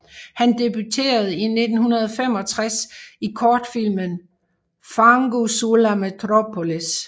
Han debuterede i 1965 i kortfilmen Fango sulla metropolis